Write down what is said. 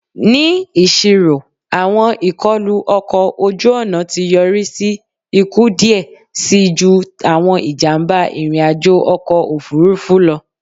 Ni iṣiro awọn ikọlu ọkọ oju-ọna ti yori si iku diẹ sii ju awọn ijamba irin-ajo ọkọ ofurufu lọ